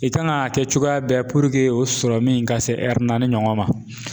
I kan ka kɛ cogoya bɛɛ o ka se naani ɲɔgɔn ma.